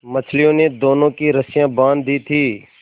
मछलियों ने दोनों की रस्सियाँ बाँध दी थीं